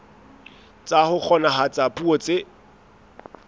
tsa ho kgonahatsa puo tse